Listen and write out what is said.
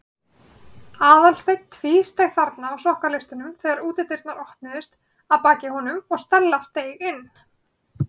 Aðalsteinn tvísteig þarna á sokkaleistunum þegar útidyrnar opnuðust að baki honum og Stella steig inn.